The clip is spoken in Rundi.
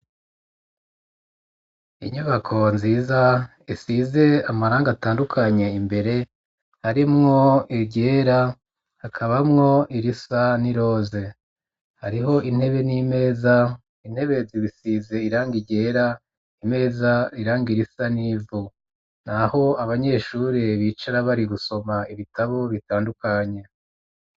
Inyubako nziza isize amarangi atandukanye imbere harimwo iryera hakabamwo irisa n'iroze hariho intebe n'imeza intebe zisize iranga ryera imeza irangi risa n'ivu naho abanyeshuri bicara bari gusoma ibitabo bitandukanye.